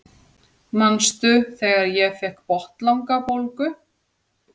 Manstu þegar ég fékk botnlangabólgu?